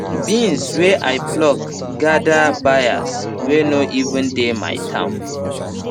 beans wey i pluck gather buyers wey no even dey my town